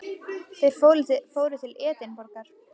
Þeir fóru til Edinborgar.